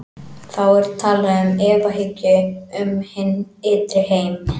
Þá er talað um efahyggju um hinn ytri heim.